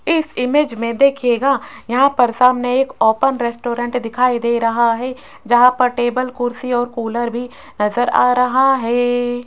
इस इमेज में देखिएगा यहां पर सामने एक ओपन रेस्टोरेंट दिखाई दे रहा है जहां पर टेबल कुर्सी और कूलर भी नजर आ रहा है।